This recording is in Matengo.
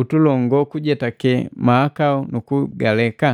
utulongo kujetake mahakau nukugaleka?